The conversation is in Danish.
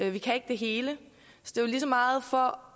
vi kan ikke det hele og lige så meget for